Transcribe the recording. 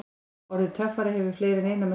Orðið töffari hefur fleiri en eina merkingu.